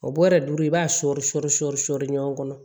O bɔrɛ duuru i b'a sɔri sɔri sɔri sɔri ɲɔgɔn kɔnɔ